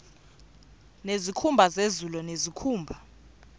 nezikhumba zezilo nezikhumba